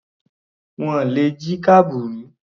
Wọ́n le jí kábùrù.